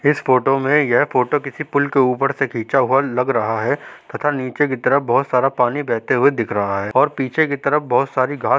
इस फोटो में यह फोटो किसी पुल के ऊपर से खीचा हुवा लग रहा है तथा नीचे की तरफ बहुत सारा पानी बहते हुवे दिख रहा है और पीछे की तरफ बहुत सारी घास --